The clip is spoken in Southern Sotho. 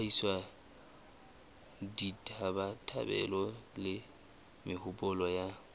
hlahisa ditabatabelo le mehopolo ya